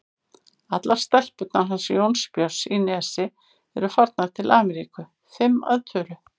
Allar stelpurnar hans Jónbjörns í Nesi eru farnar til Ameríku, fimm að tölu.